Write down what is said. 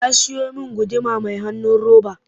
Ya siyo min guduma mai hanun roba